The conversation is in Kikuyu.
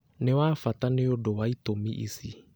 Nĩ wa bata nĩ ũndũ wa itũmi ici: